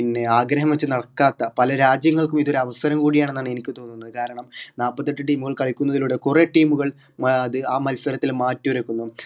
പിന്നെ ആഗ്രഹം വെച്ച് നടക്കാത്ത പല രാജ്യങ്ങൾക്കും ഇത് ഒരു അവസരം കൂടിയാണെന്നാണ് എനിക്ക് തോന്നുന്നത് കാരണം നാപ്പത്തിഎട്ട് team കൾ കളിക്കുന്നതിലൂടെ കുറെ team കൾ ആത് മത്സരത്തിൽ മാറ്റൊരുക്കുന്നു